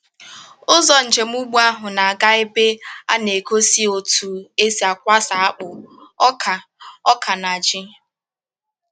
Ụzọ njem ugbo ahụ na-aga ebe a na-egosi otú e si akwasa akpụ, ọka, ọka, na ji.